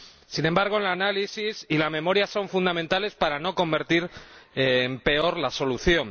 Sin embargo, el análisis y la memoria son fundamentales para no convertir en peor la solución.